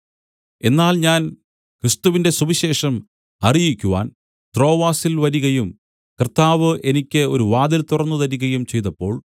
എന്നാൽ ഞാൻ ക്രിസ്തുവിന്റെ സുവിശേഷം അറിയിക്കുവാൻ ത്രോവാസിൽ വരികയും കർത്താവ് എനിക്ക് ഒരു വാതിൽ തുറന്നുതരികയും ചെയ്തപ്പോൾ